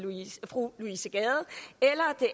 fru louise gade